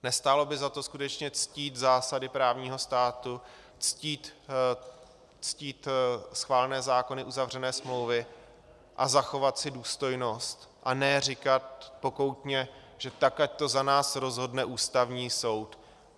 Nestálo by za to skutečně ctít zásady právního státu, ctít schválené zákony, uzavřené smlouvy a zachovat si důstojnost, a ne říkat pokoutně, že tak ať to za nás rozhodne Ústavní soud?